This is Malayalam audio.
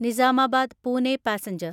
നിസാമാബാദ് പൂനെ പാസഞ്ചർ